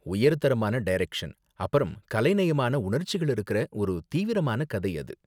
உயர் தரமான டைரக்ஷன் அப்பறம் கலைநயமான உணர்ச்சிகள் இருக்கற ஒரு தீவிரமான கதை அது.